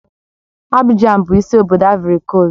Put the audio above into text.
Abijan bụ isi obodo Aịvorị Koost